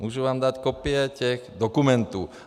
Mohu vám dát kopie těch dokumentů.